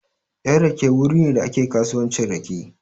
Yan rake wuri ne da ake kasuwancin rake.